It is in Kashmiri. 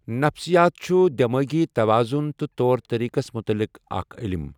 نَفسِیات چھُ دؠمٲغی تَوَازُن تہٕ طوٚر طَریٖقَس مُتعلق اَکھٛ عٔلِم۔